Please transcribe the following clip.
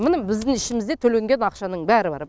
міне біздің ішімізде төленген ақшаның бәрі бар